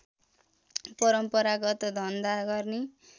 परम्परागत धन्धा गर्ने